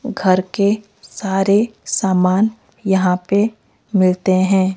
घर के सारे सामान यहाँ पे मिलते हैं।